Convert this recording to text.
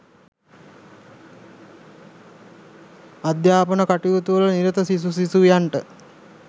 අධ්‍යාපන කටයුතුවල නිරත සිසු සිසුවියන්ට